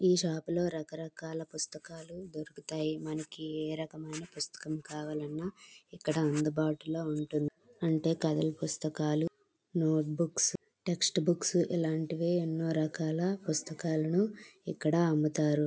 ఈ షాపు లోనే రకరకాల పుస్తకాలు దొరుకుతాయి. మనకి ఏ రకం పుస్తకం కావాలంటే ఆ రకం అందుబాటులో ఉంటుంది. అంటే కదల పుస్తకాలు నోట్ బుక్ టెక్స్ట్ బుక్స్ ఇలాంటివి ఎన్నో రకాల పుస్తకాలు ఇక్కడ అమ్ముతారు.